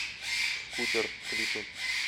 скутер клипы